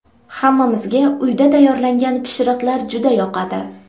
Hammamizga uyda tayyorlangan pishiriqlar juda yoqadi.